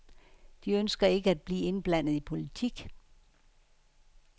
De ønsker ikke at blive indblandet i politik.